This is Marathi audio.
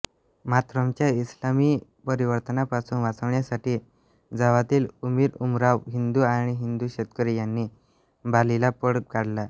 मातरमच्या इस्लामी परिवर्तनापासून वाचण्यासाठी जावातील अमीरउमराव हिंदू आणि हिंदू शेतकरी यांनी बालीला पळ काढला